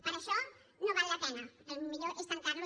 per això no val la pena el millor és tancar lo